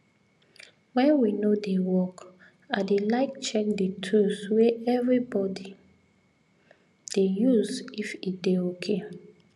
when we no dey work i dey like check the tools wey everybody dey use if e dey okay